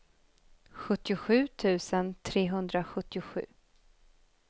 sjuttiosju tusen trehundrasjuttiosju